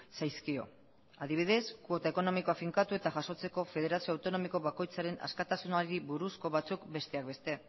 zaizkio adibidez kuota ekonomikoa finkatu eta jasotzeko federazio autonomiko bakoitzaren askatasunari buruzko batzuk besteak beste